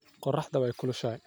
Koroxdha waay kulushaxay.